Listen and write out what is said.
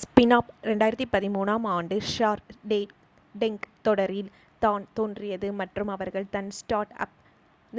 Smirnoff 2013 ஆம் ஆண்டு shark tank தொடரில் தான் தோன்றியது மற்றும் அவர்கள் தன் ஸ்டார்ட் அப்